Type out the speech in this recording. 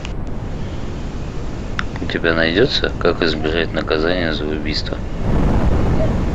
у тебя найдется как избежать наказания за убийство